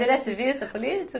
Ele é ativista político?